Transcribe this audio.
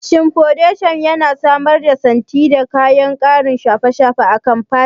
Shin fodeshan yana samar da santsi da ƙarin kayan shafa akan fata?